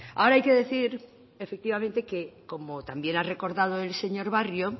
ahora hay que decir efectivamente que como también ha recordado el señor barrio